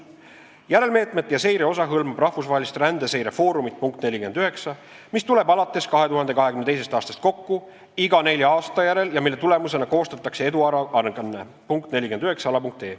Järelmeetmete ja seire osa hõlmab rahvusvahelist rände seire foorumit , mis tuleb alates 2022. aastast kokku iga nelja aasta järel ja mille tulemusena koostatakse eduaruanne .